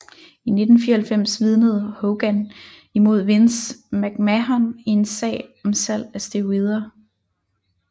I 1994 vidnede Hogan imod Vince McMahon i en sag om salg af sterioder